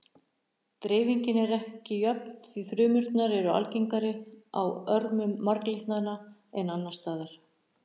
Dreifingin er ekki jöfn því frumurnar eru algengari á örmum marglyttanna en annars staðar.